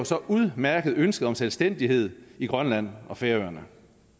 så udmærket ønsket om selvstændighed i grønland og færøerne